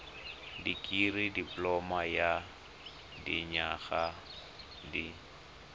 dikirii dipoloma ya dinyaga di